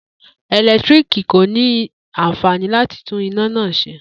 Eletiriki ko ni anfani lati tun ina naa ṣe.